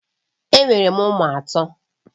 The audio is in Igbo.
Enwere m ụmụ atọ